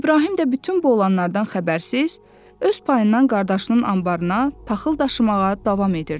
İbrahim də bütün bu olanlardan xəbərsiz öz payından qardaşının anbarına taxıl daşımağa davam edirdi.